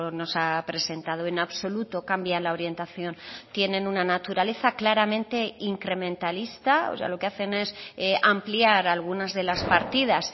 nos ha presentado en absoluto cambian la orientación tienen una naturaleza claramente incrementalista o sea lo que hacen es ampliar algunas de las partidas